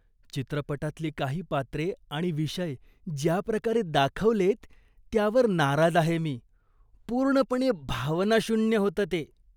चित्रपटातली काही पात्रे आणि विषय ज्या प्रकारे दाखवलेत त्यावर नाराज आहे मी. पूर्णपणे भावनाशून्य होतं ते.